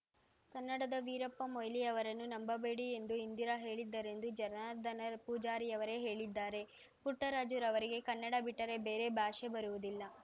ಕನ್ನಡದ ವೀರಪ್ಪ ಮೊಯ್ಲಿಯವರನ್ನು ನಂಬಬೇಡಿ ಎಂದು ಇಂದಿರಾ ಹೇಳಿದ್ದರೆಂದು ಜನಾರ್ದನ ಪೂಜಾರಿಯವರೇ ಹೇಳಿದ್ದಾರೆ ಪುಟ್ಟರಾಜುರವರಿಗೆ ಕನ್ನಡ ಬಿಟ್ಟರೆ ಬೇರೆ ಭಾಷೆ ಬರುವುದಿಲ್ಲ